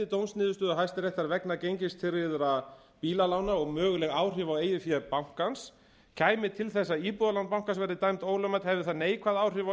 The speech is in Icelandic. dómsniðurstöðu hæstaréttar vegna gengistryggðra bílalána og möguleg áhrif á eigið fé bankans kæmi til þess að íbúðalán bankans verði dæmd ólögmæt hefði það neikvæð áhrif á